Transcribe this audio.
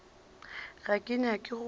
ga ke nyake go hlwa